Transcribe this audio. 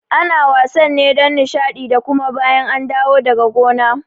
Ana wasan ne don Nishaɗi da kuma bayan an dawo daga gona